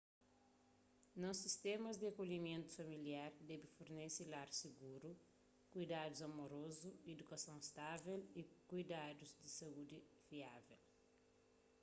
nos sistémas di akolhimentu familiar debe fornese lar siguru kuidadus amorozu idukason stável y kuidadus di saúdi fiável